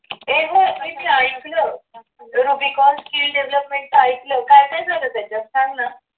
एवढं ते मी ऐकलं rubicon skill development ऐकलं काय काय झालं त्याच्यात सांग ना.